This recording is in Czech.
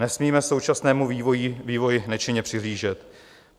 Nesmíme současnému vývoji nečinně přihlížet.